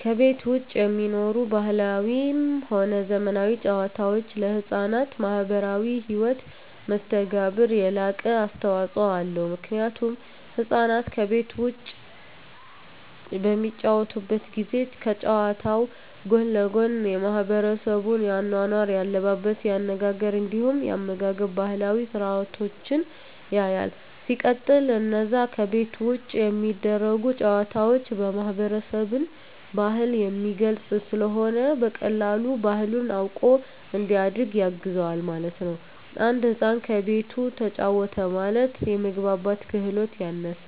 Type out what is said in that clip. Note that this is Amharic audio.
ከቤት ዉጪ የሚኖሩ ባህላዊም ሆነ ዘመናዊ ጨዋታወች ለሕፃናት ማህበራዊ ህይወት መስተጋብር የላቀ አስተዋጾ አለዉ ምክንያቱም ህፃናት ከቤት ዉጪ በሚጫወቱበት ጊዜ ከጨዋታዉ ጎን ለጎን የማሕበረሰቡን የአኗኗር፣ የአለባበስ፤ የአነጋገር እንዲሁም የአመጋገብ ባህላዊ ስርአቶችን ያያል። ሲቀጥል አነዛ ከቤት ዉጪ የሚደረጉ ጨዋታወች የማህበረሰብን ባህል የሚገልጽ ስለሆነ በቀላሉ ባህሉን አዉቆ እንዲያድግ ያግዘዋል ማለት ነዉ። አንድ ህፃን ከቤቱ ተጫወተ ማለት የመግባባት ክህሎቱ ያነሰ፣